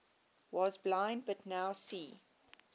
was blind but now see